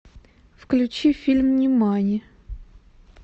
включи фильм нимани